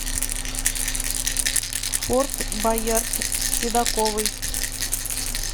форт боярд с седаковой